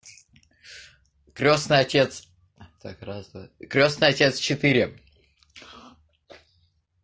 крёстный отец так раз два крёстный отец четыре